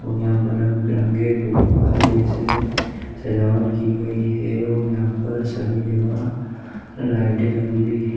और यहाँ पे रंग बिरंगे गुब्बरे जैसे सजावट की गयी है और यहाँ पर सभी जगह लाइटे लगी हुई है।